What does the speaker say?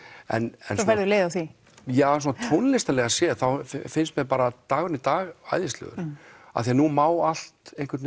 en svo færðu leið á því ja svona tónlistarlega séð þá finnst mér bara dagurinn í dag æðislegur af því að nú má allt einhvern